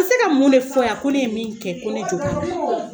A bɛ se ka mun de fɔ yan ko ne ye mun kɛ ko ne jo t'ala